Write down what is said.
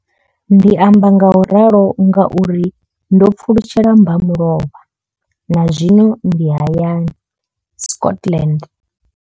Ndi amba ngauralo nga uri ndo pfulutshela mbamulovha na zwino ndi hayani, Scotland.